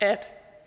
at